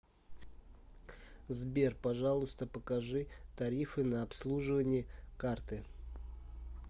сбер пожалуйста покажи тарифы на обслуживание карты